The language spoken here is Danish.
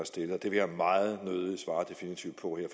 stillet og det vil jeg meget nødigt svare definitivt på her